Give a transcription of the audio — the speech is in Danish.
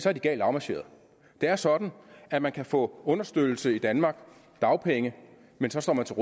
er galt afmarcheret det er sådan at man kan få understøttelse i danmark dagpenge men så står man til